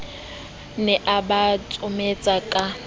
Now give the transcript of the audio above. ne a ba tsometsa a